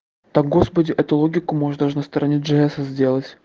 да господи эту логику можно на стороне дж эса сделать